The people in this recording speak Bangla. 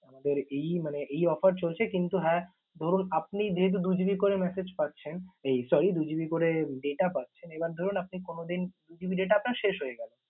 আমাদের এই মানে এই offer চলছে কিন্তু হ্যাঁ ধরুন আপনি যেহেতু দু GB করে message পাচ্ছেন এই sorry দু GB করে data পাচ্ছেন, এবার ধরুন আপনি কোন দিন দু GB data আপনার শেষ হয়ে গেল